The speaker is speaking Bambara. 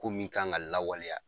Ko min kan ka lawaleya